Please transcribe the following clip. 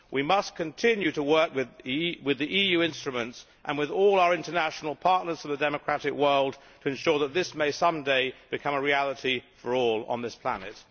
We must continue to work with the EU instruments and with all our international partners in the democratic world to ensure that this may, some day, become a reality for all on this planet.